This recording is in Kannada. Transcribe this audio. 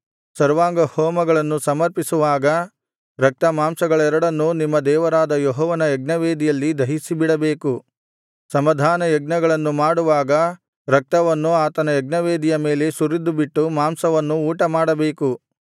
ಸರ್ವಾಂಗ ಹೋಮಗಳನ್ನು ಸಮರ್ಪಿಸುವಾಗ ರಕ್ತ ಮಾಂಸಗಳೆರಡನ್ನೂ ನಿಮ್ಮ ದೇವರಾದ ಯೆಹೋವನ ಯಜ್ಞವೇದಿಯಲ್ಲಿ ದಹಿಸಿಬಿಡಬೇಕು ಸಮಾಧಾನ ಯಜ್ಞಗಳನ್ನು ಮಾಡುವಾಗ ರಕ್ತವನ್ನು ಆತನ ಯಜ್ಞವೇದಿಯ ಮೇಲೆ ಸುರಿದುಬಿಟ್ಟು ಮಾಂಸವನ್ನು ಊಟಮಾಡಬೇಕು